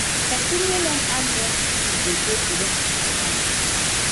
pesin wey learn hands-on skill dey dey productive for life